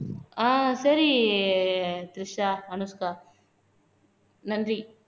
ஆஹ் சரி திரிஷா அனுஷ்கா நன்றி